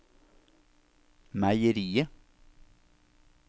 meieriet